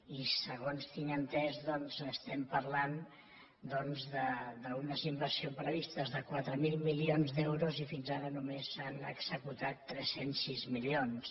i segons tinc entès doncs estem parlant d’unes inversions previstes de quatre mil milions d’euros i fins ara només se n’han executat tres cents i sis milions